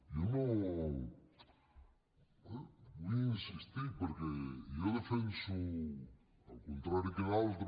jo no hi vull insistir perquè jo defenso al contrari que d’altres